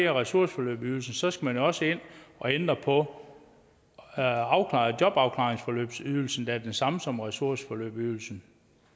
ressourceforløbsydelsen skal man også ind og ændre på jobafklaringsforløbsydelsen der er den samme som ressourceforløbsydelsen